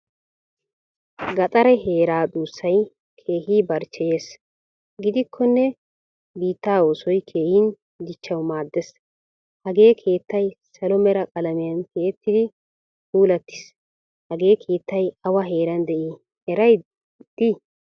Gaxare heeraa dussay keehin barchcheyees. Giddikone biittaa oosoy keehin dichchawu maaddees. Hagee keettay salo mera qalamiyan tiyettidi puulattiis. Hagee keettay awa heeran dei eriyay di?